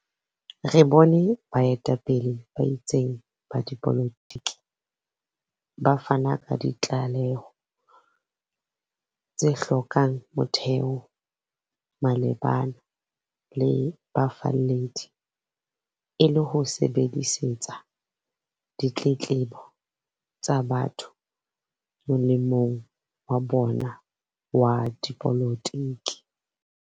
Re bone baeta-pele ba itseng ba dipolotiki ba fana ka ditlaleho tse hlo kang motheo malebana le bafalledi, e le ho sebedisetsa ditletlebo tsa batho molemong wa bona wa dipolotiki.